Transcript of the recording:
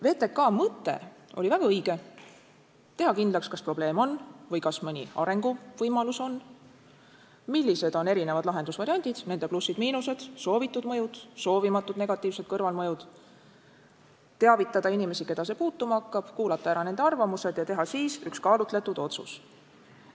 VTK mõte oli väga õige: teha kindlaks, kas probleem on või kas mõni arenguvõimalus on, millised on erinevad lahendusvariandid, nende plussid-miinused, soovitud mõjud, soovimatud negatiivsed kõrvalmõjud, teavitada inimesi, keda see puutuma hakkab, kuulata ära nende arvamused ja teha siis üks kaalutletud otsus.